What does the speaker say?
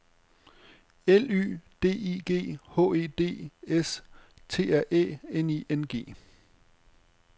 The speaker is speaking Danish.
L Y D I G H E D S T R Æ N I N G